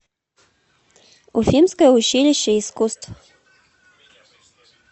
уфимское училище искусств